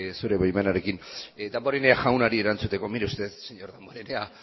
zure baimenarekin damborena jaunari erantzuteko mire usted señor damborenea